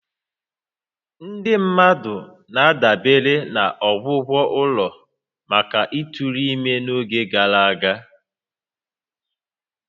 Ndị mmadụ na-adabere na ọgwụgwọ ụlọ maka ịtụrụ ime n'oge gara aga